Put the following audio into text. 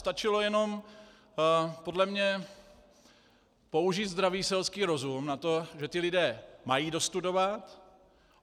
Stačilo jenom podle mě použít zdravý selský rozum na to, že ti lidé mají dostudovat.